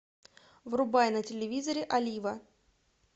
врубай на телевизоре олива